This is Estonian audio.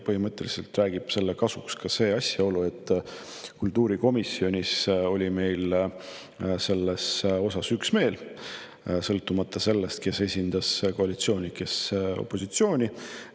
Põhimõtteliselt räägib selle kasuks ka asjaolu, et kultuurikomisjonis oli meil selles osas üksmeel, sõltumata sellest, kes esindas koalitsiooni, kes opositsiooni.